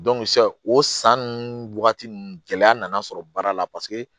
sisan o san nunnu wagati ninnu gɛlɛya nana sɔrɔ baara la paseke